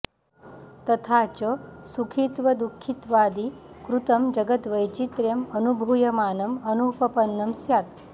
तथा च सुखित्वदुःखित्वादि कृतं जगद्वैचित्र्यं अनुभूयमानं अनुपपन्नं स्यात्